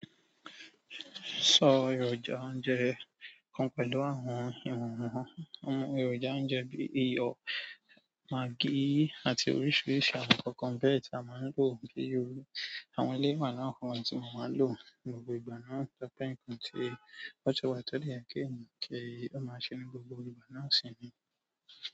Sọ èròjà oúnjẹ kan pẹ̀lú àwọn ìwọ̀n wọ́n. Àwọn èròjà oúnjẹ bíi iyọ̀, maggi àti oríṣìíríṣìí àwọn kọnkọ̀n béètì a máa ń lò kí orí àwọn ilé ìwẹ̀ náà fún ohun tí màá máa lò ní gbogbo ìgbà náà tó pé nǹkan tí ó ti wá tẹ́lẹ̀ kí èèyàn kí ó máa ṣe ní gbogbo ìgbà náà sì ni.